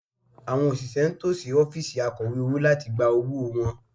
Àwọn òṣìṣẹ́ ń tò sí ọ́fíìsì Akọ̀wé owó láti gba owó wọn